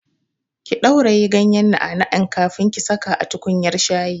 Ki ɗauraye ganyar na'a na'an kafin ki saka a tukunyar shayi!